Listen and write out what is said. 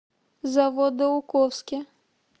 заводоуковске